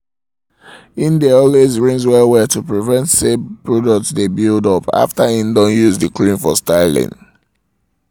im dae always rinse well-well to prevent say products dae build up after im don use the creams for styling